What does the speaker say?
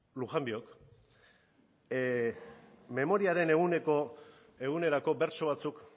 lujanbiok memoriaren egunerako bertso batzuk